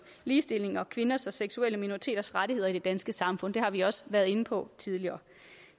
ligestilling og om kvinders og seksuelle minoriteters rettigheder i det danske samfund det har vi også været inde på tidligere